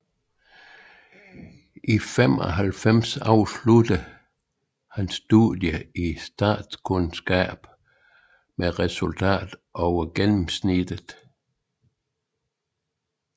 I 1995 afsluttede han studiet i statskundskab med et resultat over gennemsnittet